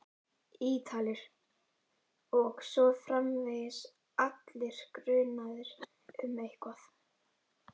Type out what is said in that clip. Ítalir. og svo framvegis, allir grunaðir um eitthvað.